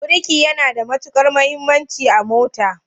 Birki yana da matukar muhimmanci a mota.